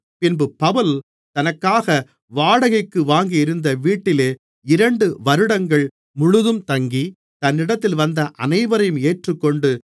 பின்பு பவுல் தனக்காக வாடகைக்கு வாங்கியிருந்த வீட்டிலே இரண்டு வருடங்கள் முழுதும் தங்கி தன்னிடத்தில் வந்த அனைவரையும் ஏற்றுக்கொண்டு